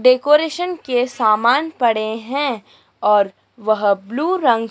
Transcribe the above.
decoration के सामान पड़े हैं और वह ब्लू रंग--